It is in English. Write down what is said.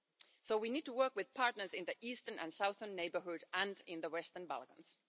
So we need to work with partners in the eastern and southern neighbourhood and in the Western Balkans.